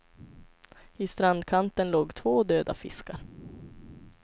I strandkanten låg två döda fiskar.